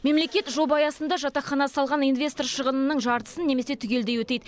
мемлекет жоба аясында жатақхана салған инвестор шығынының жартысын немесе түгелдей өтейді